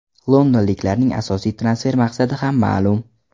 Londonliklarning asosiy transfer maqsadi ham ma’lum.